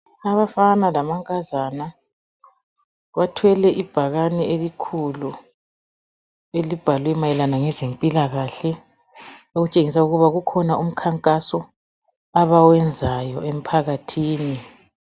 Abafana lamankazana bathwele ibhakane elikhulu elibhalwe mayelana ngezempilakahle okutshengisa ukuba kukhona umkhankaso abawuyenzayo emphakathini.